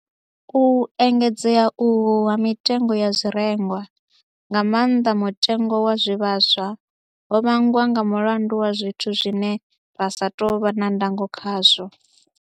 U engedzea uhu ha mitengo ya zwirengwa, nga maanḓa mutengo wa zwivhaswa, ho vhangwa nga mulandu wa zwithu zwine ra sa tou vha na ndango khazwo.